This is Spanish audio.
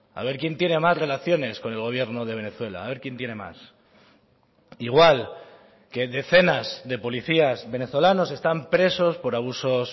a ver quién tiene más relaciones con el gobierno de venezuela a ver quién tiene más igual que decenas de policías venezolanos están presos por abusos